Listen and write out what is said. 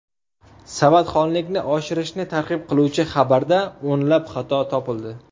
Savodxonlikni oshirishni targ‘ib qiluvchi xabarda o‘nlab xato topildi.